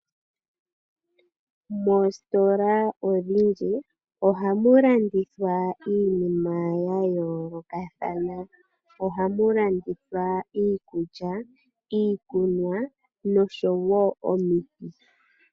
Moositola odhindji oha mu landithwa iinima ya yoolokathana. Oha mu landithwa iikulya, iikunwa nosho woo omiti.